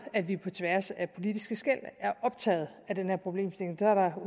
at vi på tværs af politiske skel er optaget af den her problemstilling der er